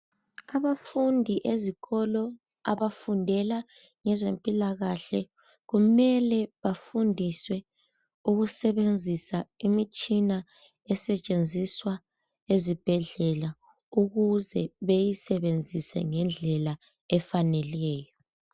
Abafundi ezikolo abafundela ngezempilakahle kumele bafundiswe ukusebenzisa imitshina esetshenziswa ezibhedlela ukuze beyisebenzise ngendlela efaneleyo.